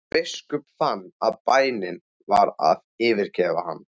Biskup fann að bænin var að yfirgefa hann.